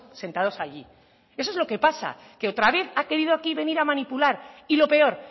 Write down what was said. sentados allí eso es lo que pasa que otra vez ha querido aquí venir a manipular y lo peor